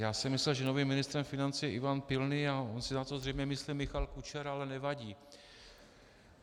Já jsem myslel, že novým ministrem financí je Ivan Pilný, a on si na to zřejmě myslí Michal Kučera, ale nevadí.